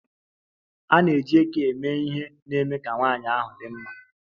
A na-eji eke eme ihe na-eme ka nwanyị ahụ dị mma.